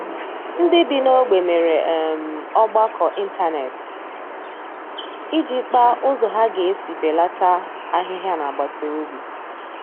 Ndị bi n'ogbe mere um ọgbakọ ịntanet iji kpaa ụzọ ha ga-esi belata ahịhịa n'agbataobi